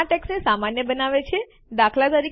આ ટેક્સ્ટને સામાન્ય બનાવે છે દાત